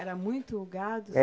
Era muito gado?